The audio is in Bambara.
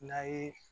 Na ye